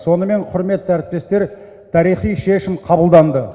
сонымен құрметті әріптестер тарихи шешім қабылданды